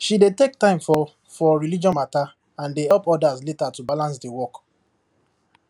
she dey take time for for religious matter and dey help others later to balance the work